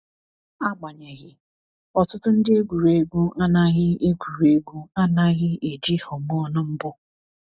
Agbanyeghị, ọtụtụ ndị egwuregwu anaghị egwuregwu anaghị eji hormone mbụ.